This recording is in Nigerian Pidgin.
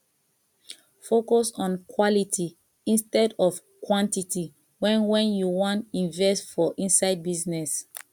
focus on quality instead of quantity when when you wan invest for inside business